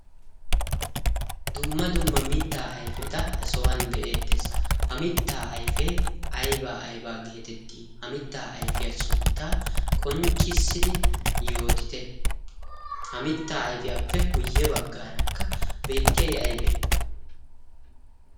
dumma dumma mittaa ayfeta ha sohuwan be'ettees ha mittaa ayfee aybaa aybaa geetettii ha mittaa ayfiyaa sunttaa qonccissidi yootite ha mittaa ayfiyaappe guyye baggaarakka beettiyay aybee